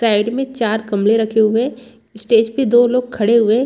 Side में चार कमले रखे हुए हैं स्टेज पर दो लोग खड़े हुए हैं।